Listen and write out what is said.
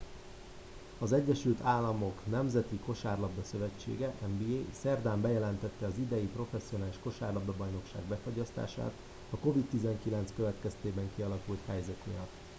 az egyesült államok nemzeti kosárlabda szövetsége nba szerdán bejelentette az idei professzionális kosárlabdabajnokság befagyasztását a covid-19 következtében kialakult helyzet miatt